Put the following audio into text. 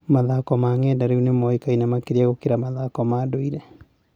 Mathako ma ng’enda rĩu nĩ mũĩkaine makĩria gũkĩra mathako ma ndũire.